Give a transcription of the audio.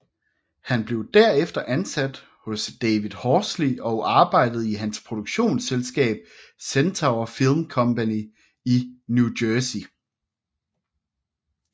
Han blev derefter ansat hos David Horsley og arbejdede i hans produktionsselskab Centaur Film Company i New Jersey